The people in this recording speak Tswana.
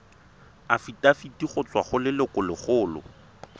afitafiti go tswa go lelokolegolo